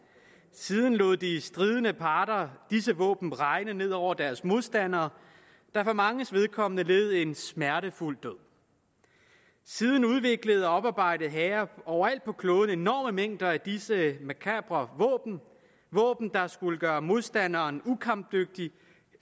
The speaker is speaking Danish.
siden lod de stridende parter disse våben regne ned over deres modstandere der for manges vedkommende led en smertefuld død siden udviklede og oparbejdede hære overalt på kloden enorme mængder af disse makabre våben våben der skulle gøre modstanderen ukampdygtig